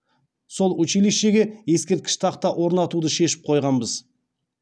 сол училищеге ескерткіш тақта орнатуды шешіп қойғанбыз